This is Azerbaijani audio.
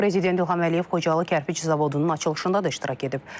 Prezident İlham Əliyev Xocalı kərpiç zavodunun açılışında da iştirak edib.